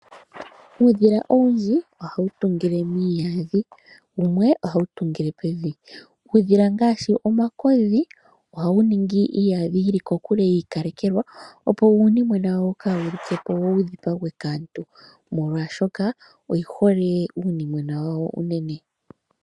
Uudhila owundji ohawu tungile miiyadhi. Wumwe ohawu tungile pevi. Uudhila ngaashi omakodhi ohawu ningi iiyadhi yili kokule yiikalekelwa opo uunimwenwa wawo kawu like po wo wu dhipagwe kaantu, molwashoka oyi hole uunimwena wawo unene.